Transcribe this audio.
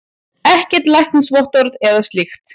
Ekkert læknisvottorð eða slíkt.